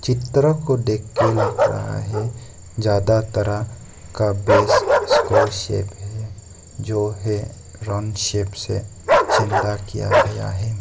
चित्र को देखकर लग रहा है ज्यादा तरह का बेस स्क्वायर शेप जो है राउंड शेप से चेंडा किया गया है।